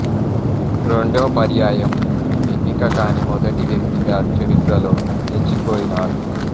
రెండో పర్యాయం ఎన్నిక కాని మొదటి వ్యక్తిగా చరిత్రలో నిల్చిపోయినారు